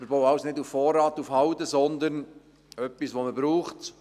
Wir bauen somit nicht auf Vorrat, sondern wir bauen etwas, das man braucht.